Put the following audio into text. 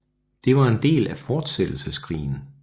Det var en del af Fortsættelseskrigen